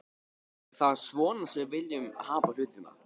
Er það svona sem við viljum hafa hlutina?